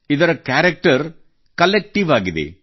ಇದರ character collective ಆಗಿದೆ